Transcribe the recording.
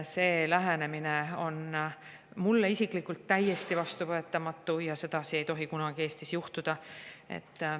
See lähenemine on mulle isiklikult täiesti vastuvõetamatu ja sedasi ei tohi kunagi Eestis juhtuda.